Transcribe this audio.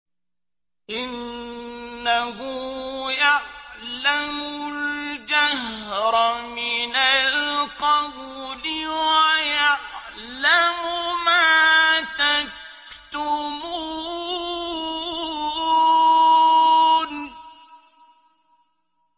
إِنَّهُ يَعْلَمُ الْجَهْرَ مِنَ الْقَوْلِ وَيَعْلَمُ مَا تَكْتُمُونَ